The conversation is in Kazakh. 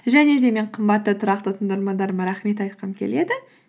және де мен қымбатты тұрақты тыңдармандарыма рахмет айтқым келеді